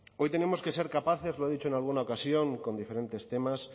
hoy tenemos que ser capaces lo he dicho en alguna ocasión con diferentes temas